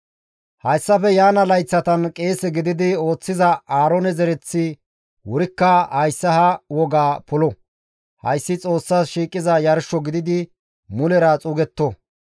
Hayssafe yaana layththatan qeese gididi ooththiza Aaroone zereththi wurikka hayssa ha wogaa polo; hayssi Xoossas shiiqiza yarsho gididi mulera xuugetto.